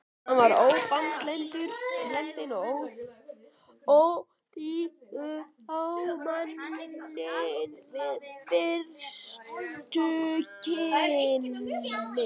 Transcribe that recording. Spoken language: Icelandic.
Hann var ómannblendinn og óþýður á manninn við fyrstu kynni.